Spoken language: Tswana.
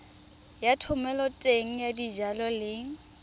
ya thomeloteng ya dijalo le